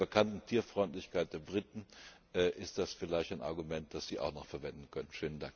Bei der bekannten Tierfreundlichkeit der Briten ist das vielleicht ein Argument, das Sie auch noch verwenden können.